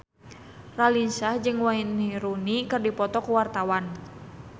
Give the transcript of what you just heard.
Raline Shah jeung Wayne Rooney keur dipoto ku wartawan